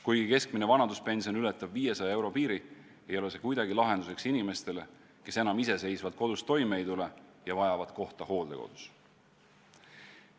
Kuigi keskmine vanaduspension ületab 500 euro piiri, ei ole see kuidagi lahenduseks inimestele, kes enam iseseisvalt kodus toime ei tule ja vajavad kohta hooldekodus.